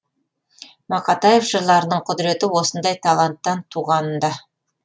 мақатаев жырларының құдіреті осындай таланттан туғанында